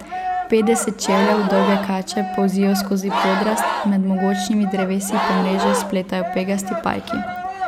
Petdeset čevljev dolge kače polzijo skozi podrast, med mogočnimi drevesi pa mreže spletajo pegasti pajki.